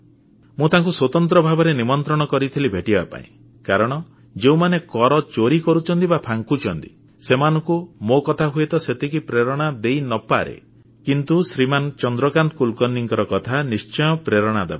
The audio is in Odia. ମୁଁ ତାଙ୍କୁ ସ୍ୱତନ୍ତ୍ର ଭାବରେ ନିମନ୍ତ୍ରଣ କରିଥିଲି ଭେଟିବା ପାଇଁ କାରଣ ଯେଉଁମାନେ କର ଚୋରି କରୁଛନ୍ତି ବା ଫାଙ୍କୁଛନ୍ତି ସେମାନଙ୍କୁ ମୋ କଥା ହୁଏତ ସେତିକି ପ୍ରେରଣା ଦେଇ ନ ପାରେ କିନ୍ତୁ ଶ୍ରୀମାନ ଚନ୍ଦ୍ରକାନ୍ତ କୁଲକର୍ଣ୍ଣିଙ୍କ କଥା ନିଶ୍ଚୟ ପ୍ରେରଣା ଦେବ